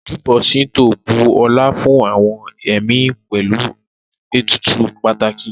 Ojúbọ ṣíńtò bu ọlá fún àwọn ẹ̀mí pẹ̀lú ètùtù pàtàkì